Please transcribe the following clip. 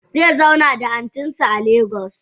Zezauna da antinsa a lagos.